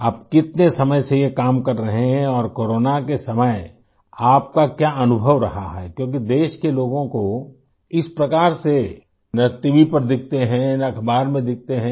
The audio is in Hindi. आप कितने समय से ये काम कर रहे हैं और कोरोना के समय आप का क्या अनुभव रहा है क्योंकि देश के लोगों को इस प्रकार से न टीवी पर दिखते हैं न अखबार में दिखते हैं